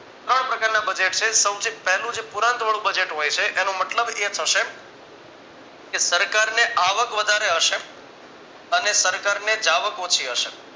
ત્રણ પ્રકારના budget છે. સૌથી પહેલું છે જે પુરાંતવાળું budget હોય છે એનો મતલબ એ થશે કે સરકારને આવક વધારે હશે અને સરકારને જાવક ઓછી હશે